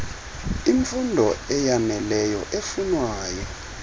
imfund eyaneleyo efunwayo